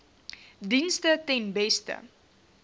dienste ten beste